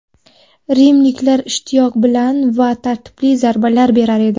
Rimliklar ishtiyoq bilan va tartibli zarbalar berar edi.